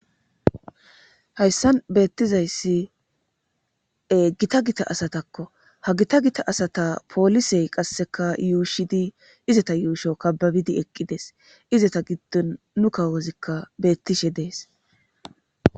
Hayssan beettizayssi e gita gita asatakko ha gita gita asata poolisey qasseka yuushidi izata yuusho kababidi eqqides izata giddon nu kawozikka beettishe dees.